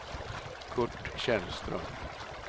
Curt Källström